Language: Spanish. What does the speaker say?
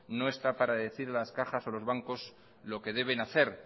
no está para decir a las cajas y a los bancos lo que deben hacer